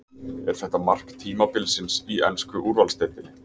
Er þetta mark tímabilsins í ensku úrvalsdeildinni?